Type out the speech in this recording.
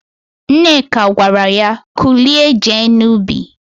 Nneka gwara ya, "kulie jee n'ubi"!